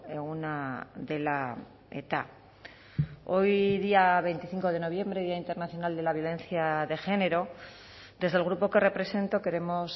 eguna dela eta hoy día veinticinco de noviembre día internacional de la violencia de género desde el grupo que represento queremos